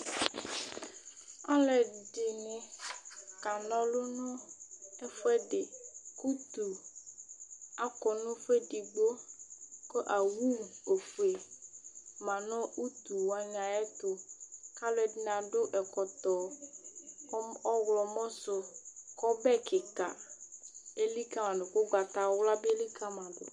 Alʋɛdìní ka na ɔlu nʋ ɛfʋɛdi kʋ ʋtu akɔ nʋ ɛfʋɛdigbo kʋ owu ɔfʋe ma nʋ ʋtu wani ayʋ ɛtu kʋ alʋɛdìní adu ɛkɔtɔ ɔwlɔmɔ su kʋ ɔbɛ kìka elikali ma du kʋ ugbatawla elikali ma du